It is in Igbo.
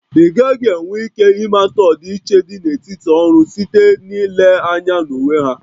Ị gaghị enwe ike ịmata ọdịiche dị n'etiti ọrụ site n'ile anya na uwe ha?